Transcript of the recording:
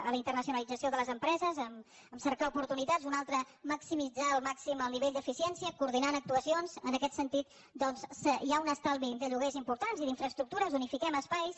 a la internacionalització de les empreses amb cercar oportunitats una altra maximitzar al màxim el nivell d’eficiència coordinant actuacions en aquest sentit doncs hi ha un estalvi de lloguers important i d’infraestructures unifiquem espais